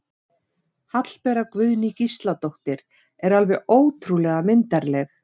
Hallbera Guðný Gísladóttir er alveg ótrúlega myndarleg